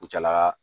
U cɛlaka